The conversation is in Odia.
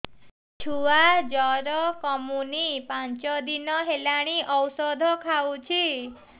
ଛୁଆ ଜର କମୁନି ପାଞ୍ଚ ଦିନ ହେଲାଣି ଔଷଧ ଖାଉଛି